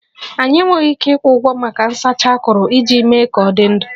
Anyị enweghị ike ịkwụ ụgwọ maka nsacha akuru iji mee ka ọ dị ndụ